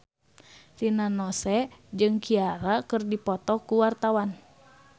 Rina Nose jeung Ciara keur dipoto ku wartawan